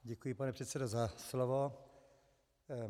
Děkuji, pane předsedo, za slovo.